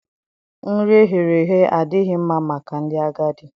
Nri e ghere eghe adịghị mma maka ndị agadi.